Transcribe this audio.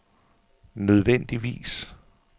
nødvendigvis